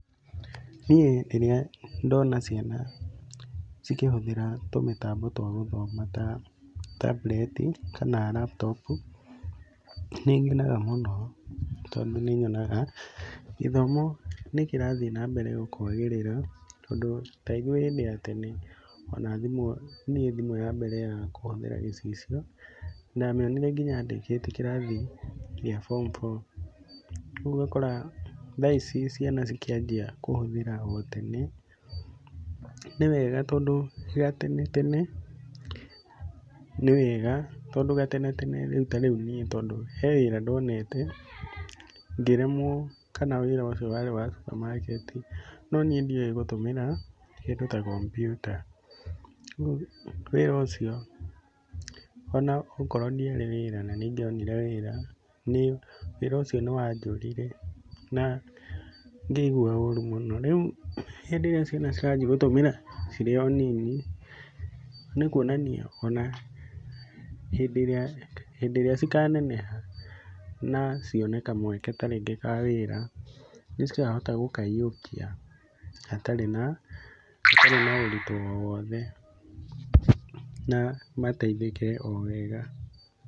Niĩ rĩrĩa ndona ciana cikĩhũthĩra tũmĩtambo twa gũthoma ta tambureti, kana laptop nĩ ngenaga mũno tondũ nĩ nyonaga gĩthomo nĩ kĩrathiĩ na mbere kwagĩrĩra tondũ ta ithuĩ hĩndĩ ya tene, niĩ thimũ ya mbere ya kũhũthĩra gĩcicio, ndamĩonire nginya ndĩkĩtie kĩrathi gĩa bomu bo. Ũguo ũgakora ciana cikĩanjia kũhũthĩra tene, nĩ wega tondũ gatene tene rĩu niĩ he wĩra ndonete ngĩremwo kana wĩra ũcio warĩ wa cupamaketi, no niĩ ndioĩ gũtũmĩra kĩndũ ta kompiuta. Rĩu wĩra ũcio onokorwo ndiarĩ wĩra na nĩ ingĩonire wĩra, wĩra ũcio nĩ wanjũrire na ngĩigua ũru mũno. Rĩu hĩndĩ ĩrĩa ciana ciranji gũtũmĩra cirĩ o nini, nĩ kuonania o na hĩndĩ ĩrĩa, hĩndĩ ĩrĩa cikaneneha na cione kamweke ta rĩngĩ ka wĩra nĩ cikahota gũkaiyũkia hatarĩ na ũritũ o wothe na mateithĩke o wega.